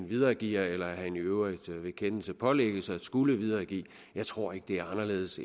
videregiver eller i øvrigt ved kendelse pålægges at skulle videregive jeg tror ikke det er anderledes